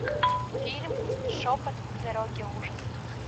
фильм шепот дороги ужасов